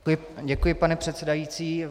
Děkuji, pane předsedající.